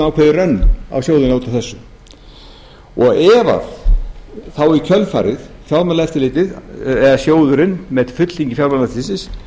hann á þjóðina út af þessu ef að þá í kjölfarið fjármálaeftirlitið eða sjóðurinn með fulltingi fjármálaeftirlitsins